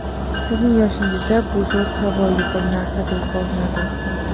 Sizning yoshingizda bu so‘z havoyi bir narsaday ko‘rinadi.